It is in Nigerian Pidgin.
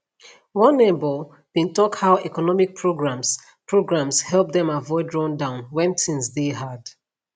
one neighbor bin tok how economic programs programs help dem avoid rundown wen tins deyy hard